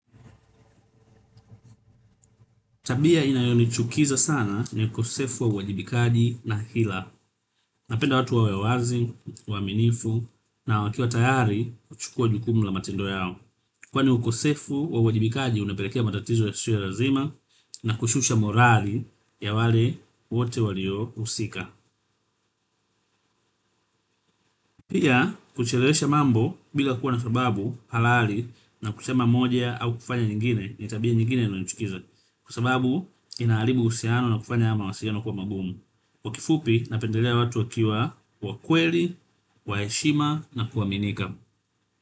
Tabia inayonichukiza sana ni ukosefu wa uwajibikaji na hila. Napenda watu wawe wazi, waaminifu na wakiwa tayari kuchukua jukumu la matendo yao. Kwani ukosefu wa uwajibikaji unapelekea matatizo yasiyo lazima na kushusha morali ya wale wate walio husika. Pia kuchelewesha mambo bila kuwa na sababu halali na kusema moja au kufanya nyingine ni tabia nyingine inayonichukiza. Kwa sababu inaharibu uhusiano na kufanya hayo mawasiliano kuwa magumu. Kwa kifupi, napendelea watu wakiwa wakweli, wa heshima na kuaminika.